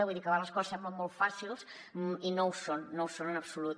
vull dir que a vegades les coses semblen molt fàcils i no ho són no ho són en absolut